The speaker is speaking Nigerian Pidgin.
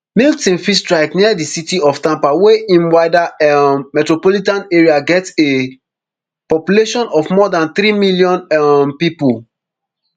milton fit strike near di city of tampa wey im wider um metropolitan area get a population of more dan three million um pipo